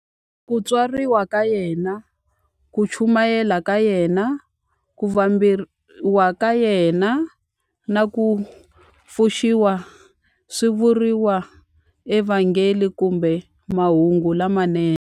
Ku tswariwa ka yena, ku chumayela ka yena, ku vambiwa ka yena, na ku pfuxiwa swi vuriwa eVhangeli kumbe Mahungu lamanene.